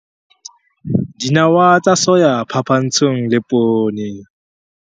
Dinawa tsa soya phapantshong le poone.